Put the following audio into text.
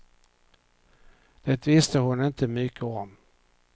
Det visste hon inte mycket om.